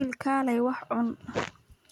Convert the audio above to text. Wiil, kaalay wax cun.